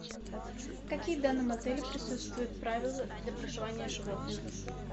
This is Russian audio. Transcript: какие в данном отеле присутствуют правила для проживания с животными